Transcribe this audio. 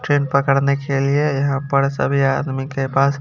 train पकड़ने के लिए यहां पड़ सभी आदमी के पास--